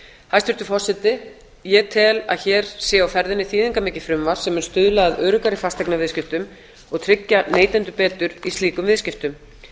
hæstvirtur forseti ég tel að hér sé á ferðinni þýðingarmikið frumvarp sem mun stuðla að öruggari fasteignaviðskiptum og tryggja neytendur betur í slíkum viðskiptum